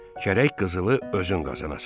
Gərək qızılı özün qazanasən.